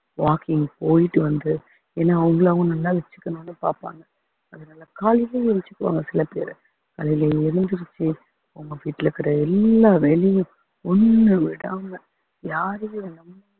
walking போயிட்டு வந்து ஏன்னா அவங்களும் அவங்க நல்லா வச்சுக்கணும்னு பாப்பாங்க அதனால காலையிலே எந்துருச்சுக்குவாங்க சில பேரு காலையில எழுந்திருச்சு அவங்க வீட்டுல இருக்கிற எல்லா வேலையும் ஒண்ணு விடாம யாரையும் நம்~